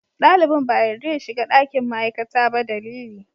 Dalibin ba a yarda ya shiga ɗakin ma'aikata ba dalili.